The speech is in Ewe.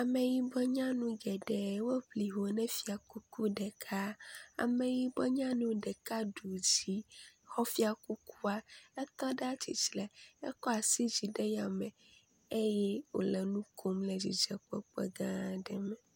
Ameyibɔ nyanu geɖe woŋli ho ne fiakuku ɖeka. Ameyibɔ nyanu ɖeka ɖu dzi xɔ fiakuku etɔ ɖe tsitre ekɔ asi dzi le yame eye wo le nu kom le dzidzɔkpɔkpɔ gã aɖe me.